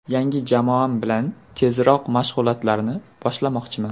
Yangi jamoam bilan tezroq mashg‘ulotlarni boshlamoqchiman.